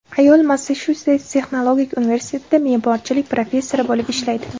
Ayol Massachusets texnologik universitetida me’morchilik professori bo‘lib ishlaydi.